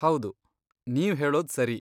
ಹೌದು, ನೀವ್ ಹೇಳೋದ್ ಸರಿ.